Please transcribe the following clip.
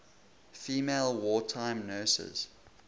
female wartime nurses